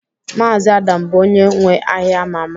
Mazi Adam bụ onye nwe ahịa ama ama